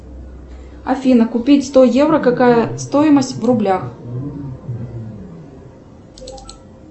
афина купить сто евро какая стоимость в рублях